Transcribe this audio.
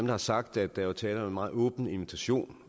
har sagt at der var tale om en meget åben invitation